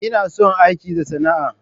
Ina son aiki da sana'a,